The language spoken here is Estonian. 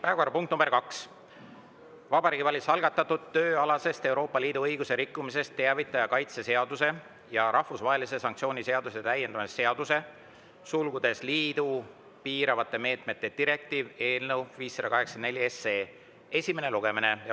Päevakorrapunkt nr 2: Vabariigi Valitsuse algatatud tööalasest Euroopa Liidu õiguse rikkumisest teavitaja kaitse seaduse ja rahvusvahelise sanktsiooni seaduse täiendamise seaduse eelnõu 584 esimene lugemine.